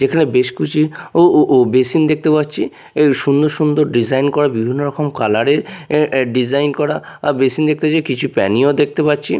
এখানে বেশ কিছু ও ও ও বেসিন দেখতে পাচ্ছি এর সুন্দর সুন্দর ডিজাইন করা বিভিন্ন রকম কালার -এর এ এ ডিজাইন করা বেসিন দেখতে পাচ্ছি কিছু প্যানি -ও দেখতে পাচ্ছি।